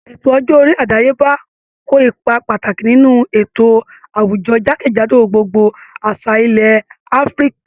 Ètò ọjọ́ orí àdáyébá ko ipa pàtàkì nínú ètò àwùjọ jákèjádò gbogbo àṣà ilẹ̀ Áfíríkà